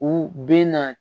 U bɛ na